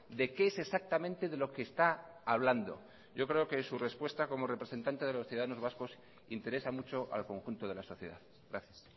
de qué es exactamente de lo que está hablando yo creo que su respuesta como representante de los ciudadanos vascos interesa mucho al conjunto de la sociedad gracias